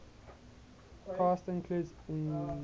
cast includes inga